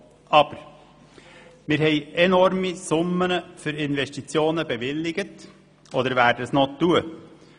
Aber wir haben enorme Summen für Investitionen bewilligt oder werden dies noch tun.